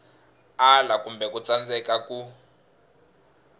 ala kumbe ku tsandzeka ku